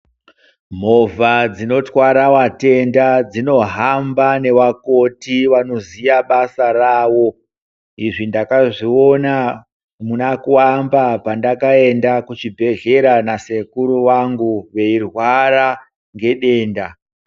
Movha dzinotwara watenda dzinohamba newakoti wanoziwa basa rawo, izvi ndakazviona muna kuwamba pandakaenda kuchibhedhlera nasekuru wangu wei rwara ngedenda.